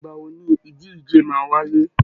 Ìgbà wo ni ìdíje máa wáyé?